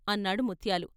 " అన్నాడు ముత్యాలు.